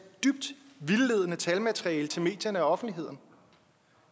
dybt vildledende talmateriale til medierne og offentligheden